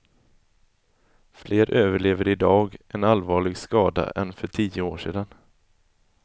Fler överlever idag en allvarlig skada än för tio år sedan.